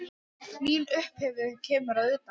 Mín upphefð kemur að utan.